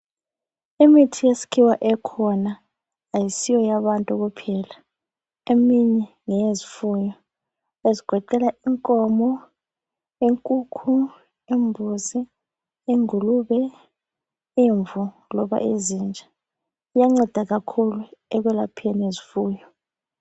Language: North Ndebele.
Imithi yesikhiwa ekhona ayisiyo yabantu kuphela eminye ngeyezifuyo ezigoqela inkomo, inkukhu, imbuzi. ingulube, imvu loba izinja. Iyanceda kakhulu ekwelapheni izifuyo.